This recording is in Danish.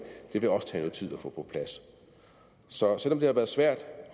vil også tage noget tid at få på plads så selv om det har været svært